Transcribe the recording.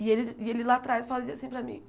E ele e ele lá atrás fazia assim para mim.